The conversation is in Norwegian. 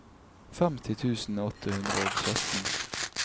femti tusen åtte hundre og sytten